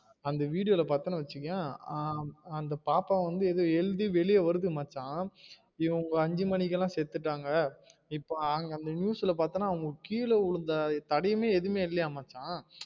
அந்த video ல பாத்தனு வச்சுக்கவே அந்த பாப்பா வந்து எழுதி வெளிய வருது மச்சா இவுங்க அஞ்சு மணிக்கலாம் செத்துட்டாங்க இப்ப அந்த news ல பாத்தின கீழ விழுந்த தடயமே எதுவுமே இல்லையாம் மச்சா